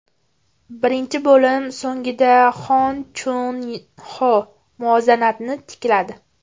Birinchi bo‘lim so‘ngida Hon Chun Ho muvozanatni tikladi.